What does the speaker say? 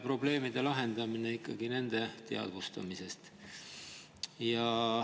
Probleemide lahendamine algab ikkagi nende teadvustamisest.